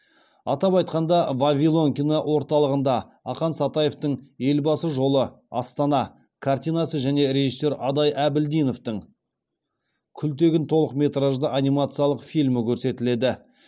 атап айтқанда вавилон кино орталығында ақан сатаевтың елбасы жолы астана картинасы және режиссер адай әбілдиновтің күлтегін толықметражды анимациялық фильмі көрсетіледі